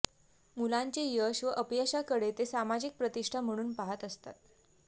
मुलांचे यश व अपयशाकडे ते सामाजिक प्रतिष्ठा म्हणून पाहत असतात